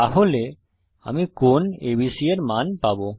তাহলে আমি কোণ ABC এর মান পাবো